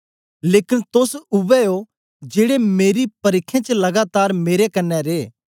लेकन तोस उवै ओं जेड़े मेरी परिखें च लगातार मेरे कन्ने रे